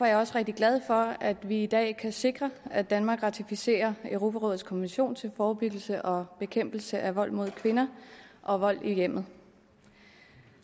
jeg også rigtig glad for at vi i dag kan sikre at danmark ratificerer europarådets konvention til forebyggelse og bekæmpelse af vold mod kvinder og vold i hjemmet